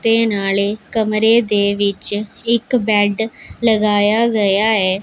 ਤੇ ਨਾਲੇ ਕਮਰੇ ਵਿਚ ਇੱਕ ਬੈਡ ਲਗਾਯਾ ਗਯਾ ਐ।